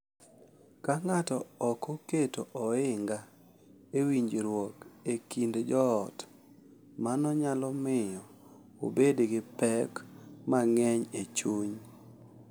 Ka ng’ato ok oketo ohinga e winjruok e kind joot, mano nyalo miyo obed gi pek mang’eny e chuny.